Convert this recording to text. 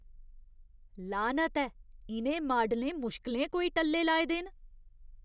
लानत ऐ! इ'नें माडलें मुश्कलें कोई टल्ले लाए दे न।